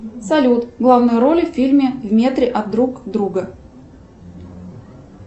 салют главные роли в фильме в метре от друг друга